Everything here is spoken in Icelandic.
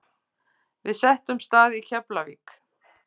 Við settumst að í Keflavík.